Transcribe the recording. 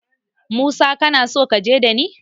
Musa kanason kaje ɗani.